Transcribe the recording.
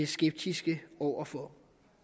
skeptiske over for